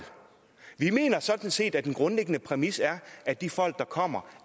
vi mener sådan set at den grundlæggende præmis er at de folk der kommer